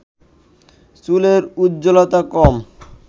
চুলের উজ্জ্বলতা কম